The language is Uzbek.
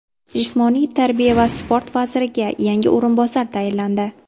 Jismoniy tarbiya va sport vaziriga yangi o‘rinbosar tayinlandi.